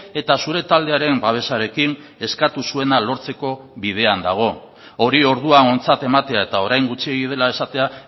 eta zure taldearen babesarekin eskatu zuena lortzeko bidean dago hori orduan ontzat ematea eta orain gutxiegi dela esatea